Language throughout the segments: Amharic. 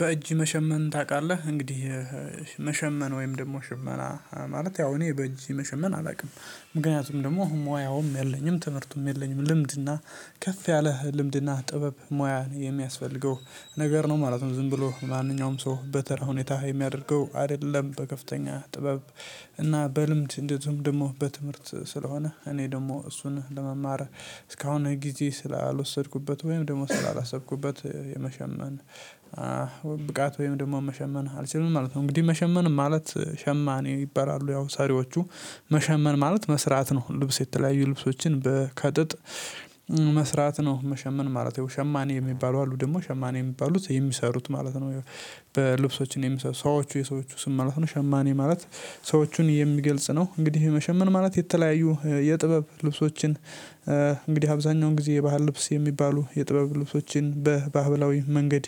በእጅ መሸመን ታውቃለህ እንግዲህ መሸመን ወይም ደግሞ ሽመና ማለት ያው እኔ በእንጂ መሸመን አላውቅም። ምክንያቱም ደግሞ ሙያውም የለኝም ትምህርቱም የለኝም ልምድና ከፍ ያለህ ልምድና ጥበብ ሙያ የሚያስፈልገው ነገር ነው ማለት ነው ዝም ብሎ ማንኛውም ሰው በተራ ሁኔታ የሚያደርገው አይደለም በከፍተኛ ጥበብ። እና በልምድ እንደዚሁም ደግሞ በትምህርት ስለሆነ እኔ ደግሞ እሱን ለመማር እስካሁን ጊዜ ስላልወሰድኩበት ወይም ደግሞ ስላላሰብኩበት የመሸመን ብቃት ወይም ደግሞ መሸመን አልችልም ማለት ነው። እንግዲህ መሸመን ማለት ሸማኔ ይበላሉ ያው ሰሪዎቹ መሸመን ማለት መስራት ነው። ልብስ የተለያዩ ልብሶችን በ ከጥጥ መስራት ነው መሸመን ማለት ያው ሸማኔ የሚባሉ አሉ ደግሞ ሸማኔ የሚባሉት የሚሰሩት ማለት ነው። በልብሶች የሚሰሩት ሰዎች የሰዎች ስም ማለት ነው ሸማኔ ማለት ሰዎችን የሚገልጽ ነው። እንግዲህ ይሄ መሸመን ማለት የተለያዩ የጥበብ ልብሶችን እንግዲህ አብዛኛውን ጊዜ የባህል ልብስ የሚባሉ የጥበብ ልብሶችን በባህላዊ መንገድ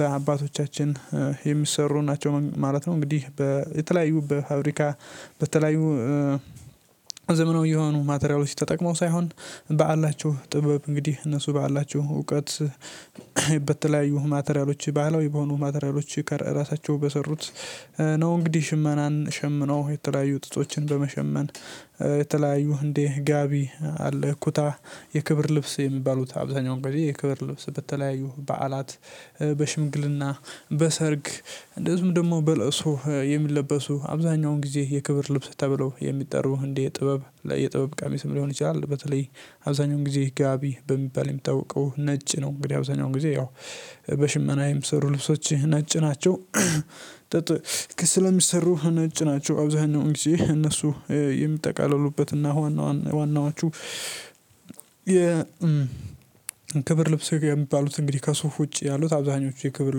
በአባቶቻችን የሚሰሩ ናቸው ማለት ነው። እንግዲህ በተለያዩ በፋብሪካ በተለያዩ ዘመናዊ የሆኑ ማቴሪያሎች ተጠቅመው ሳይሆን በዓላችሁ ጥበብ እንግዲህ እነሱ ባላቸሁ እውቀት በተለያዩ ማቴሪያሎች ባህለዊ በሆኑ ማቴሪያሎች ከ ራሳቸው በሰሩት ነው። እንግዲህ ሽመናን ሸምነው የተለያዩ ጥጦችን በመሸመን የተለያዩ እንዴ ጋቢ አለ እኩታ የክብር ልብስ የሚባሉት አብዛኛው ጊዜ የክብር ልብስ በተለያዩ በዓላት በሽምግልና በሰርግ እንደዚሁም ደግሞ በለቅሶ የሚለበሱ አብዛኛውን ጊዜ የክብር ልብስ ተብለው የሚጠሩ እንድ የጥበብ ለ የጥበብ ቃሚስም ሊሆን ይችላል። በተለይ አብዛኛውን ጊዜ ጋቢ በሚባል የምታውቀው ነጭ ነው። እንግዲህ አብዛኛውን ጊዜ ያው በሽመናዬም ምሰሩ ልብሶችህ ነጭ ናቸው ጥጥ ስለሚሰሩ ነጭ ናቸው። አብዛኛው ጊዜ እነሱ የምጠቃለሉበትና ዋና ዋናዎቹ ክብር ልብስ የሚባሉት እንግዲህ ከሱፍ ውጪ ያሉት አብዛኞቹ የክብር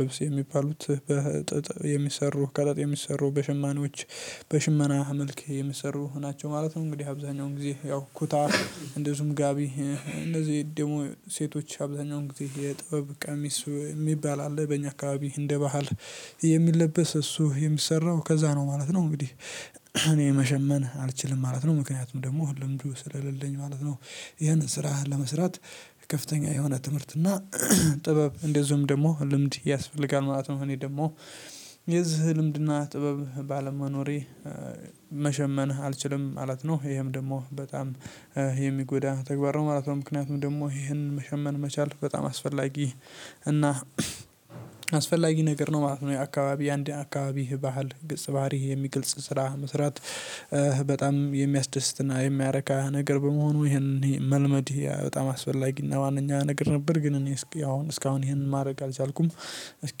ልብስ የሚባሉት በጥጥ የሚሰሩ ከጥጥ የሚሰሩ በሽማኖች በሽመና መልክ የሚሰሩ ናቸው ማለት ነው። እንግዲህ አብዛኛው ጊዜ ያው ኩታ እንደዚሁም ጋቢ እነዚህ ደግሞ ሴቶች አብዛኛው ጊዜ የጥበብ ቀሚስ የሚባል አለ በእኛ አካባቢ እንደ ባህል የሚለበስ እሱ የሚሰራው ከዛ ነው ማለት ነው። እንግዲህ እኔ መሸመን አልችልም ማለት ነው ምክንያቱም ደግሞ ልምዱ ስለሌለኝ ማለት ነው። ይህንን ስራህን ለመስራት ከፍተኛ የሆነ ትምህርት እና ጥበብ እንደዚሁም ደግሞ ልምድ ያስፈልጋል ማለት ነው። እኔ ደግሞ የዚህ ልምድና ጥበብ ባለመኖሬ መሸመን አልችልም ማለት ነው። ይሄም ደግሞ በጣም የሚጎዳ ተግባር ማለት ነው ምክንያቱም ደግሞ ይህንን መሸመን መቻል በጣም አስፈላጊ እና አስፈላጊ ነገር ነው ማለት ነው። የአካባቢ አንድ የአካባቢ ባህል ግልጽ ባህል የሚገልጽ ስራ መስራት በጣም የሚያስደስትና የሚያረካ ነገር በመሆኑ ይሄንን መልመድ በጣም አስፈላጊና ዋነኛ ነገር ነበር። ግን እኔ እስካሁን እስካሁን ይሄንን ማድረግ አልቻልኩም እስኪ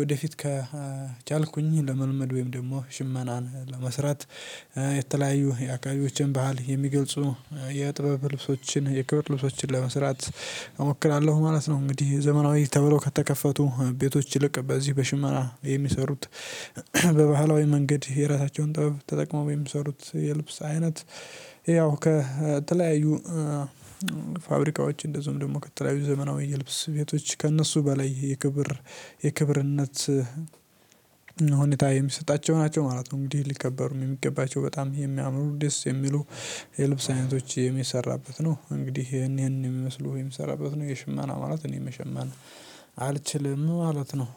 ወደፊት ከቻልኩኝ ለመልመድ ወይም ደግሞ ሽመናን ለመስራት የተለያየ የአካባብዎችን ባህል የሚገልጹ የጥበብ ልብሶችን የክብር ልብሶችን ለመስራት እሞክራለሁ ማለት ነው። እንግዲህ ዘመናዊ ተብሎ ከተከፈቱ ቤቶች ይልቅ በዚህ በሽመና የሚሰሩት በባህላዊ መንገድ የራሳቸውን ጠበብ ተጠቅመው የሚሰሩት የልብስ አይነት ያው ከተለያዩ ፋብሪካዎች እንደዚሁም ደግሞ ከተለያዩ ዘመናዊ የልብስ ቤቶች ከእነሱ በላይ የክብር የክብርነት ሁኔታ የሚሰጣቸው ናቸው ማለት ነው። እንግዲህ ሊከበሩም የሚገባቸው በጣም ይሄ የሚያምሩ ደስ የሚሉ የልብስ አይነቶች የሚሰራበት ነው። እንግዲህ ይሄን ይሄን የሚመስሉ የምሰራበት ነው የሽመና ማለት እኔ መሸመን አልችልም ማለት ነው።